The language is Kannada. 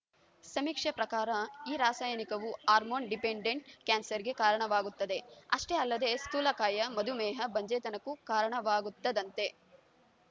ಸಮೀಕ್ಷೆ ಪ್ರಕಾರ ಈ ರಾಸಾಯನಿಕವು ಹಾರ್ಮೋನ್‌ ಡಿಪೆಂಡೆಂಟ್‌ ಕ್ಯಾನ್ಸರ್‌ಗೆ ಕಾರಣವಾಗುತ್ತದೆ ಅಷ್ಟೇ ಅಲ್ಲದೆ ಸ್ಥೂಲಕಾಯ ಮಧುಮೇಹ ಬಂಜೆತನಕ್ಕೂ ಕಾರಣವಾಗುತ್ತದಂತೆ